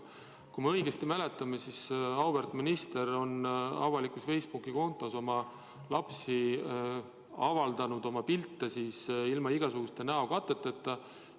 Kui ma õigesti mäletan, siis auväärt minister on oma avalikul Facebooki kontol avaldanud pilte oma lastest ilma igasuguste näokateteta.